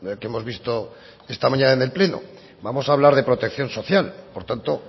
que hemos visto esta mañana en el pleno vamos a hablar de protección social por tanto